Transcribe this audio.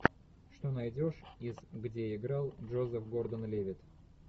что найдешь из где играл джозеф гордон левитт